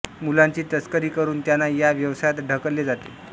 मुलांची तस्करी करून त्यांना या व्यवसायात ढकलले जाते